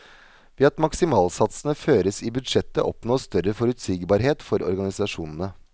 Ved at maksimalsatsene føres i budsjettet oppnås større forutsigbarhet for organisasjonene.